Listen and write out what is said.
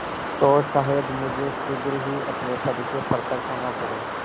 तो शायद मुझे शीघ्र ही अपने पद से पृथक होना पड़े